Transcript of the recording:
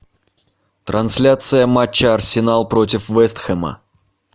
трансляция матча арсенал против вест хэма